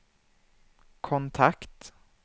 kontakt